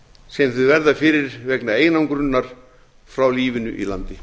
sem þeir verða fyrir vegna einangrunar frá lífinu í landi